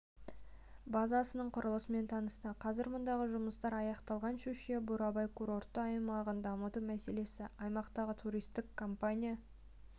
базасының құрылысымен танысты қазір мұндағы жұмыстар аяқталған щучье-бурабай курортты аймағын дамыту мәселесі аймақтағы туристік компания